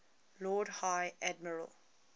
lord high admiral